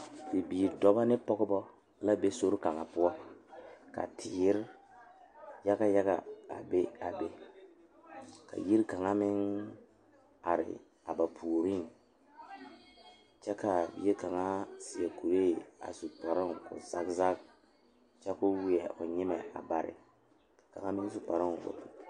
Bibiiri dɔɔba ne Pɔgeba la be sori kaŋa poɔ ka teere yaga yaga a be a be ka yiri kaŋa meŋ are a ba puori kyɛ kaa bie kaŋa seɛ kuri a su kparo ko'o zage zage kyɛ koo wiɛ o nyɛmɛ a bare.